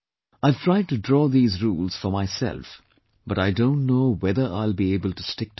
I have tried to draw these rules for myself, but I don't know whether I'll be able to stick to them